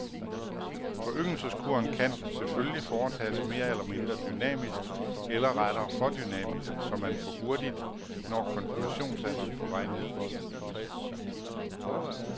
Foryngelseskuren kan selvfølgelige foretages mere eller mindre dynamisk eller rettere for dynamisk, så man for hurtigt når konfirmationsalderen på vej ned.